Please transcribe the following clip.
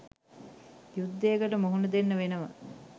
යුද්ධයකට මුහුණ දෙන්න වෙනව